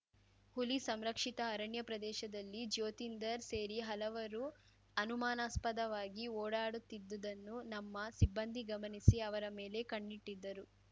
ಹುಲಿ ಸಂರಕ್ಷಿತ ಅರಣ್ಯ ಪ್ರದೇಶದಲ್ಲಿ ಜ್ಯೋತಿಂದರ್‌ ಸೇರಿ ಹಲವರು ಅನುಮಾನಾಸ್ಪದವಾಗಿ ಓಡಾಡುತ್ತಿದ್ದುದನ್ನು ನಮ್ಮ ಸಿಬ್ಬಂದಿ ಗಮನಿಸಿ ಅವರ ಮೇಲೆ ಕಣ್ಣಿಟ್ಟಿದ್ದರು